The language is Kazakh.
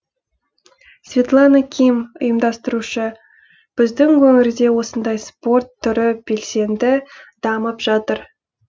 светлана ким ұйымдастырушы біздің өңірде осындай спорт түрі белсенді дамып жатыр